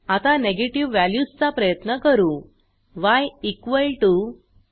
आता negative values चा प्रयत्न करू य 25